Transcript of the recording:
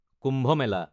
কুম্ভ মেলা